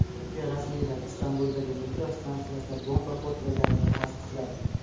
Turkiya rasmiylari Istanbuldagi metro stansiyasida bomba portlaganini tasdiqladi.